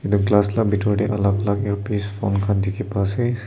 edu glass la bitor tae alak alak earpiece phone khan dikhi paase.